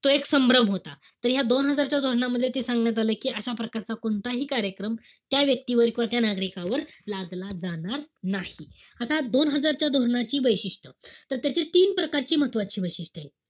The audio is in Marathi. तो एक संभ्रम होता. तर ह्या दोन हजारच्या धोरणामध्ये ते सांगण्यात आलं कि अशा प्रकारचा कोणताही कार्यक्रम, त्या व्यक्तीवर किंवा त्या नागरिकांवर लादला जाणार नाही. आता दोन हजारच्या धोरणाची वैशिष्ट्य. त त्याच तीन प्रकारची महत्वाची वैशिष्ट्य एत.